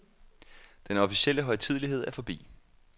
Den officielle højtidelighed er forbi.